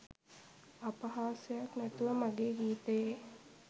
අපහාසයක් නැතුව මගේ ගීතයේ